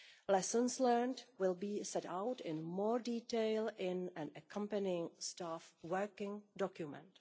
Lessons learned will be set out in more detail in an accompanying staff working document.